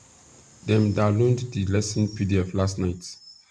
dem download the lesson pdf last night